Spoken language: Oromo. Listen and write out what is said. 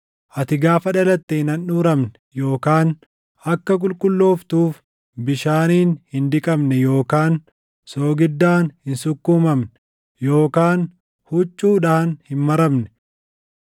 Ati gaafa dhalatte hin handhuuramne yookaan akka qulqullooftuuf bishaaniin hin dhiqamne yookaan soogiddaan hin sukkuumamne yookaan huccuudhaan hin maramne.